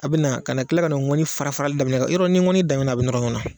A bɛ na ka na tila ka ngɔni fara fara , yɔrɔ n'i ye ngɔni da ɲɔgɔn kan a bɛ nɔrɔ ɲɔgɔnna.